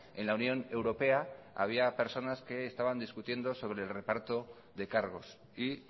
en la unión europea había personas que estaban discutiendo sobre el reparto de cargos y